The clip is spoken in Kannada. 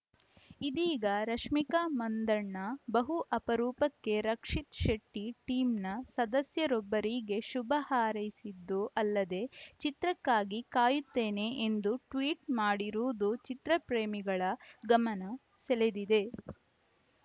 ಇದೀಗ ರಶ್ಮಿಕಾ ಮಂದಣ್ಣ ಬಹು ಅಪರೂಪಕ್ಕೆ ರಕ್ಷಿತ್‌ ಶೆಟ್ಟಿಟೀಮ್‌ನ ಸದಸ್ಯರೊಬ್ಬರಿಗೆ ಶುಭ ಹಾರೈಸಿದ್ದೂ ಅಲ್ಲದೇ ಚಿತ್ರಕ್ಕಾಗಿ ಕಾಯುತ್ತೇನೆ ಎಂದು ಟ್ವೀಟ್‌ ಮಾಡಿರುವುದು ಚಿತ್ರಪ್ರೇಮಿಗಳ ಗಮನ ಸೆಳೆದಿದೆ